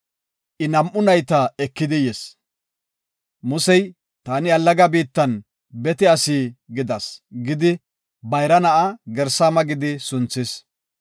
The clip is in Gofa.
I nam7u nayta ekidi yis. Musey, “Taani allaga biittan bete asi gidas” gidi bayra na7aa Gersaama gidi sunthis.